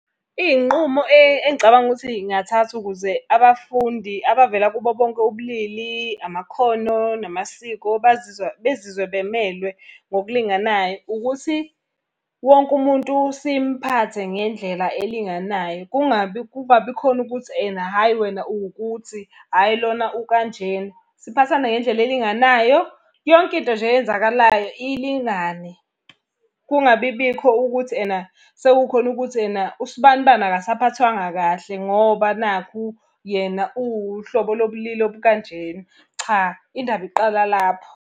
Iy'nqumo engicabanga ukuthi iy'ngathathwa ukuze abafundi abavela kubo bonke ubulili, amakhono namasiko bazizwa bezizwe bemelwe ngokulinganayo, ukuthi wonke umuntu simphathe ngendlela elinganayo, kungabi kungabi khona ukuthi ena hhayi wena uwukuthi hhayi lona ukanjena. Siphathane ngendlela elinganayo, yonke into nje eyenzakalayo ilingane. Kungabi bikho ukuthi ena sekukhona ukuthi ena usibanibani akasaphathwanga kahle ngoba nakhu yena uwuhlobo lobulili obukanjena. Cha indaba iqala lapho.